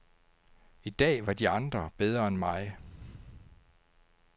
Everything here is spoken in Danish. I dag var de andre bedre end mig.